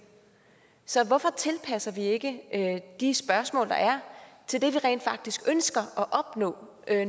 så hvorfor tilpasser vi ikke de spørgsmål der er til det vi rent faktisk ønsker at opnå